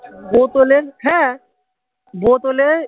বোতলের হ্যা বোতলের